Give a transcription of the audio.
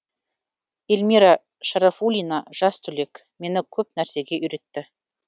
ильмира шарафуллина жас түлек мені көп нәрсеге үйретті